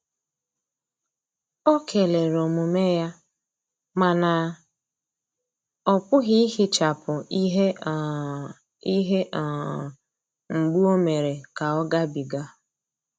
Ọ kelere omume ya, mana ọpughi ihechapu ihe um ihe um mgbu o mere ka ọ ga bi ga.